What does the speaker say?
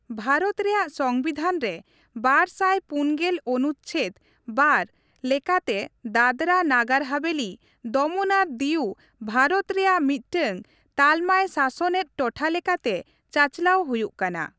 ᱵᱷᱟᱨᱚᱛ ᱨᱮᱭᱟᱜ ᱥᱚᱝᱵᱤᱫᱷᱟᱱ ᱨᱮ ᱵᱟᱨᱥᱟᱭ ᱯᱩᱱᱜᱮᱞ ᱚᱱᱩᱪᱪᱷᱮᱹᱫᱽ (᱒) ᱞᱮᱠᱟᱛᱮ ᱫᱟᱫᱽᱨᱟ, ᱱᱟᱜᱟᱨ ᱦᱟᱵᱷᱮᱹᱞᱤ, ᱫᱚᱢᱚᱱ ᱟᱨ ᱫᱤᱣ ᱵᱷᱟᱨᱚᱛ ᱨᱮᱭᱟᱜ ᱢᱤᱫᱴᱟᱝ ᱛᱟᱞᱢᱟᱭᱥᱟᱥᱚᱱᱮᱫ ᱴᱚᱴᱷᱟ ᱞᱮᱠᱟᱛᱮ ᱪᱟᱪᱞᱟᱣ ᱦᱩᱭᱩᱜᱼᱠᱟᱱᱟ ᱾